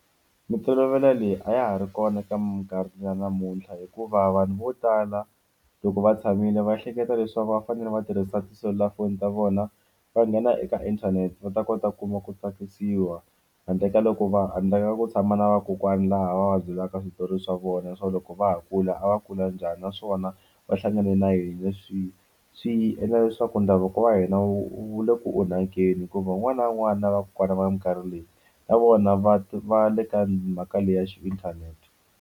Mintolovelo leyi a ya ha ri kona eka minkarhi ya namuntlha hikuva vanhu vo tala loko va tshamile va ehleketa leswaku va fanele va tirhisa tiselulafoni ta vona va nghena eka inthanete va ta kota ku kuma ku tsakisiwa handle ka loko va handle ka ku tshama na vakokwani laha va byelaka switori swa vona swa loko va ha kula a va kula njhani naswona va hlangane na yini swi swi endla leswaku ndhavuko wa hina wu le ku onhakeni hikuva un'wana na un'wana na vakokwana va minkarhi leyi na vona va va le ka mhaka leyi ya xi inthanete.